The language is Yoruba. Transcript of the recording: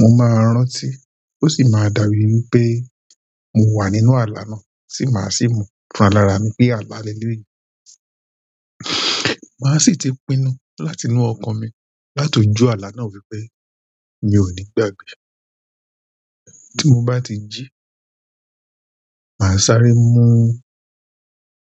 mo máa rántí o si ma dàbí wípé mo wa nínú ala na, ti ma si mo fún ra lára mi wípé ala leleyi. Màá sì ti pinnu láti inú okan mi láti ojú ala na wípé mi ò ní gbàgbe. Tí n bá ti jí, màá sáré mú